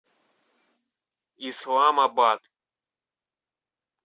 исламабад